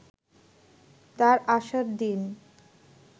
তার আসার দিন